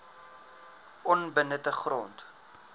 onbenutte grond